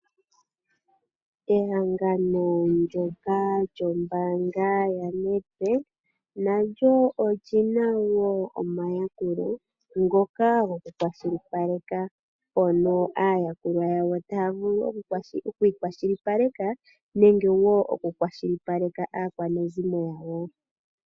Ehangano ndyoka lyombaanga yaNedbank nalyo olina wo omayakulo ngoka gokukwashilipaleka mpono aayakulwa yawo taya vulu okwiikwashilipaleka nenge okukwashilipaleka aakwanezimo.